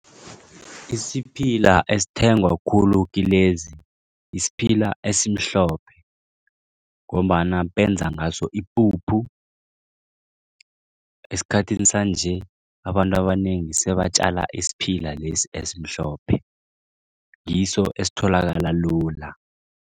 Isiphila esithengwa khulu kilezi isiphila esimhlophe ngombana benza ngaso ipuphu. Esikhathini sanje abantu abanengi sebatjala isiphila lesi esimhlophe ngiso esitholakala lula.